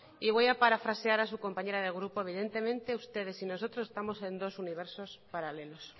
y voy a parafrasear a su compañera de grupo evidentemente ustedes y nosotros estamos en dos universos paralelos